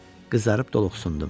Qızarıb doluxsundum.